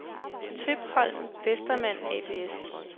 Tøpholm & Westermann ApS